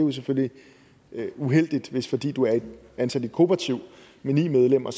er selvfølgelig uheldigt hvis du fordi du er ansat i et kooperativ med ni medlemmer